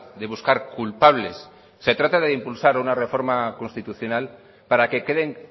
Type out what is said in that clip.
de buscar culpables se trata de impulsar una reforma constitucional para que queden